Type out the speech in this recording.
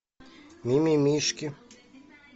мимимишки